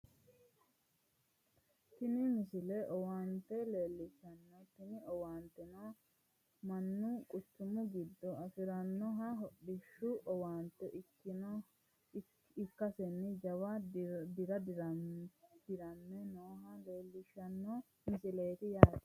tini misile owaante leellishshanno tini owaanteno mannu quchumu giddo afirannoha hodhishshu owaante ikkasenna jawa dira dirame nooha leellishshanno misileeti yaate